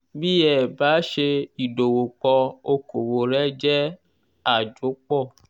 bí ẹ bá ṣe ìdòwòpò okòwò rẹ jẹ àjopò